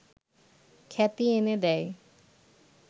খ্যাতি এনে দেয়